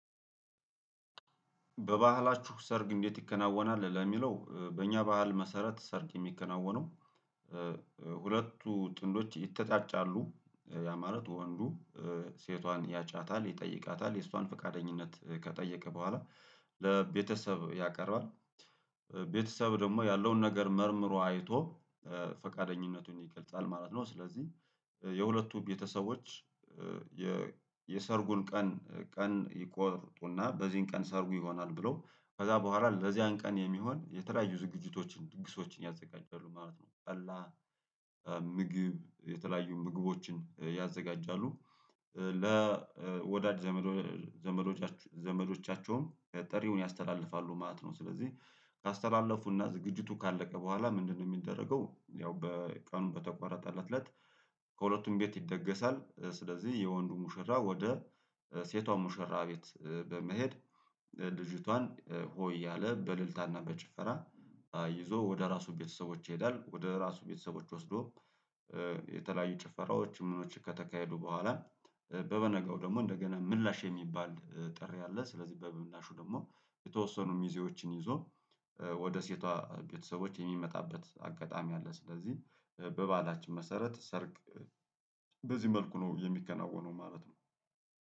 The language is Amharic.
በባህላችሁ ሰርግ እንዴት ይከናወናል? ለሚለው በእኛ ባህል መሰረት ሰርግ የሚከናወነው። ሁለቱ ጥንዶች ይተጫጫሉ እንደዛ ማለት ወንዱ ሴቷን ያጫታል ይጠይቃታል የእሷን ፈቃደኝነት ከጠየቀ በኋላ ለቤተሰብ ያቀርባል። ቤተሰብ ደግሞ ያለውን ነገር መርምሮ አይቶ ፈቃደኝነቱን ይገልጻል ማለት ነው። ስለዚህ የሁለቱ ቤተሰቦች። የሰርጉን ቀን ቀን ይቆርጡና በዚህን ቀን ሰርጉ ይሆናል ብለው ከዛ በኋላ ለዚያን ቀን የሚሆን የተለያዩ ዝግጅቶችን ድግሶችን ያዘጋጃሉ ማለት ነው። በላ ምግብ የተለያዩ ምግቦችን ያዘጋጃሉ። ለወዳድ ዘመዶቻችሁ ዘመዶቻቸውም ጠሪውን ያስተላልፋሉ ማለት ነው። ስለዚህ ካስተላለፉና ዝግጅቱ ካለቀ በኋላ ምንድነው የሚደረገው? ያው በቀኑ በተቆረጠለት እለት። ከሁለቱም ቤት ይደገሳል ስለዚህ የወንዱ ሙሽራ ወደ ሴቷ ሙሽራ ቤት በመሄድ ልጅቷን ሆ እያለ በልልታና በጭፈራ ይዞ ወደ ራሱ ቤተሰቦች ይሄዳል ወደ ራሱ ቤተሰቦች ወስዶ። የተለያዩ ጭፈራዎች ምኖች ከተካሄዱ በኋላ። በበነገው ደግሞ እንደገና ምላሽ የሚባል ጥሪ ያለ ስለዚህ በምላሹ ደግሞ የተወሰኑ ሚዜዎችን ይዞ ወደ ሴቷ ቤተሰቦች የሚመጣበት አጋጣሚ አለ። ስለዚህ በበአላችን መሰረት ሰርግ በዚህ መልኩ ነው የሚከናወነው ማለት ነው።